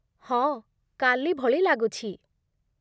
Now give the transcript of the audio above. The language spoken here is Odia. ହଁ, କାଲି ଭଳି ଲାଗୁଛି।